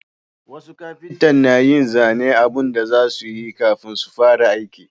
Wasu kafinta na yin zanen abun da za su yi kafin su fara aiki